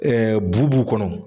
bu b'u kɔnɔ